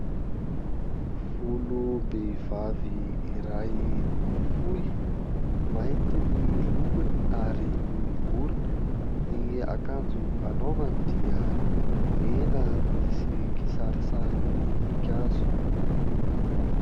Volom-behivavy iray fohy, mainty ny lokony ary miorongorona. Ny akanjo anaovany dia mena misy kisarisary voninkazo.